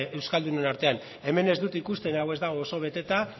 euskaldunen artean hemen ez dut ikusten hau ez dago oso beteta